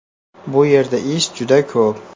Bu yerda ish juda ko‘p.